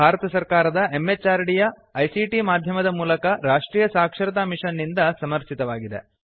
ಇದು ಭಾರತ ಸರ್ಕಾರದ MHRDಯ ICTಮಾಧ್ಯಮದ ಮೂಲಕ ರಾಷ್ಟ್ರೀಯ ಸಾಕ್ಷರತಾ ಮಿಷನ್ ನಿಂದ ಸಮರ್ಥಿತವಾಗಿದೆ